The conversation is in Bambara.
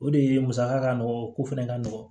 O de ye musaka ka nɔgɔn o ko fɛnɛ ka nɔgɔn